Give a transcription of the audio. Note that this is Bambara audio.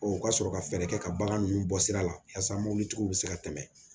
u ka sɔrɔ ka fɛɛrɛ kɛ ka bagan nunnu bɔ sira la yasa mobilitigiw bɛ se ka tɛmɛ